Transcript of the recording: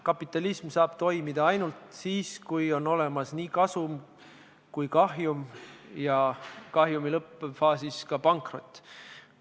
Kapitalism saab toimida ainult siis, kui on olemas nii kasum kui ka kahjum ja kahjumi lõppfaasis ka pankrot.